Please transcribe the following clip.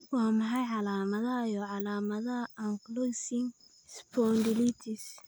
Waa maxay calaamadaha iyo calaamadaha ankylosing spondylitis?